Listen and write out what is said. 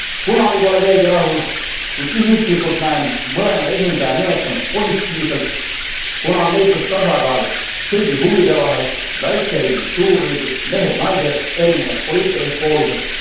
Kunagi pole keegi rahul, kuid isiklikult näen mõlema esindaja nimetamist positiivselt, kuna on leitud tasakaal kõigi huvide vahel väikeriigid suurriigid, mehed naised, erinevad poliitilised poolused.